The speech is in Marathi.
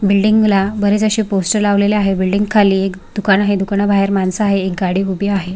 बिल्डिंगला बरेच अशे पोस्टर लावलेले आहे बिल्डिंग खाली एक दुकान आहे दुकाना बाहेर माणस आहे एक गाडी उभी आहे.